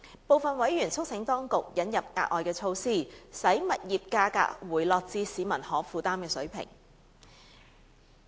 部分委員促請當局引入額外措施，使物業價格回落至市民可負擔水平。